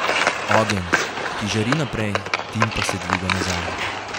Ogenj, ki žari naprej, dim pa se dviga nazaj.